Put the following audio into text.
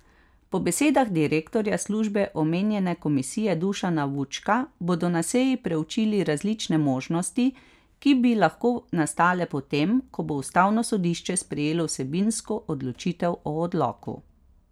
Po besedah direktorja službe omenjene komisije Dušana Vučka bodo na seji preučili različne možnosti, ki bi lahko nastale potem, ko bo ustavno sodišče sprejelo vsebinsko odločitev o odloku.